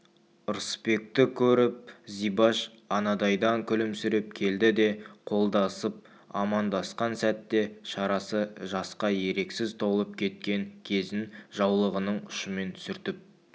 ырысбекті көріп зибаш анадайдан күлімсіреп келді де қолдасып амандасқан сәтте шарасы жасқа еріксіз толып кеткен кезін жаулығының ұшымен сүртіп